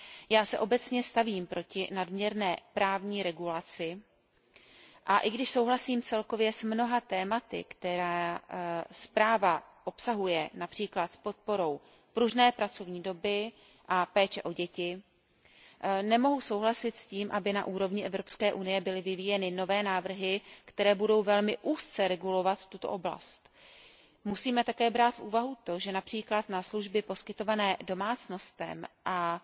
Já se obecně stavím proti nadměrné právní regulaci, a i když souhlasím celkově s mnoha tématy, která zpráva obsahuje, například s podporou pružné pracovní doby a péče o děti, nemohu souhlasit s tím, aby na úrovni Evropské unie byly vyvíjeny nové návrhy, které budou velmi úzce regulovat tuto oblast. Musíme také brát v úvahu to, že například na služby poskytované domácnostem a